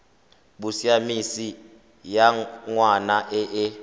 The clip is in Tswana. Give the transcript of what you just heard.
bosiamisi ya ngwana e e